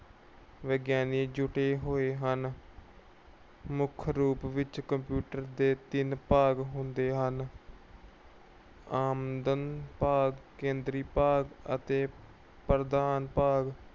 ਵਿਗਿਆਨੀ ਜੁੱਟੇ ਹੋਏ ਹਨ। ਮੁੱਖ ਰੂਪ ਵਿੱਚ computer ਦੇ ਤਿੰਨ ਭਾਗ ਹੁੰਦੇ ਹਨ। ਆਮਦ ਭਾਗ, ਕੇਂਦਰੀ ਭਾਗ ਅਤੇ ਪ੍ਰਦਾਨ ਭਾਗ।